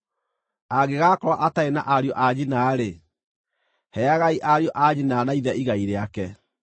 Angĩgakorwo atarĩ na ariũ a nyina-rĩ, heagai ariũ a nyina na ithe igai rĩake.